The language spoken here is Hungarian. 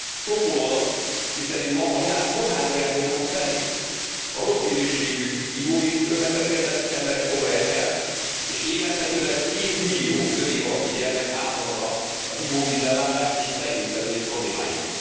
Sokkoló adat, miszerint ma a világ kórházi ágyainak a felét a rossz minőségű ivóvíztől megbetegedett emberek foglalják el, és évente közel 2 millió 5 év alatti gyermek áldozata az ivóvízellátás és a szennyvízkezelés problémáinak.